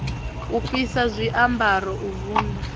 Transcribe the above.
u fhisa zwiambaro u vunḓa